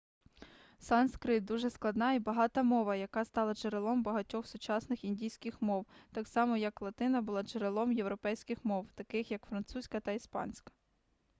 санскрит дуже складна і багата мова яка стала джерелом багатьох сучасних індійських мов так само як латина була джерелом європейських мов таких як французька та іспанська